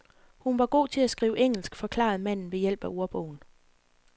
Hun var god til at skrive engelsk, forklarede manden ved hjælp af ordbogen.